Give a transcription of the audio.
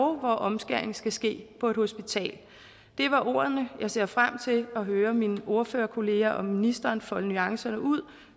hvor omskæring skal ske på et hospital det var ordene jeg ser frem til at høre mine ordførerkolleger og ministeren folde nuancerne ud